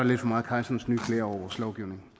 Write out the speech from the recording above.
lidt for meget kejserens nye klæder over vores lovgivning